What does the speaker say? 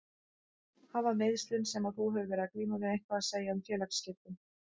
Hafa meiðslin sem að þú hefur verið að glíma við eitthvað að segja um félagsskiptin?